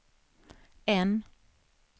N